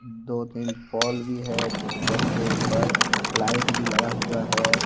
दो तीन पोल भी है पोल के ऊपर लाइट भी लगा हुआ है।